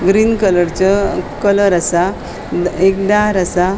ग्रीन कलरचो कलर असा एक दार असा.